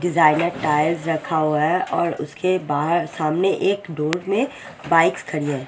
Designer tiles रखा हुआ है और उसके बाहर सामने एक धूप में बाइक खड़ी है।